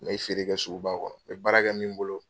N bɛ feere kɛ suguba kɔnɔ n bɛ baarakɛ min bolo.